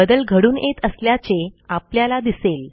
बदल घडून येत असल्याचे आपल्याला दिसेल